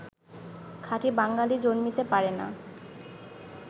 খাঁটি বাঙ্গালী জন্মিতে পারে না